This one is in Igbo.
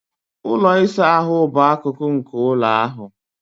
Ụlọ ịsa ahụ bụ akụkụ nke ụlọ ahụ